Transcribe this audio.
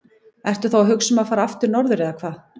Ertu þá að hugsa um að fara aftur norður eða hvað?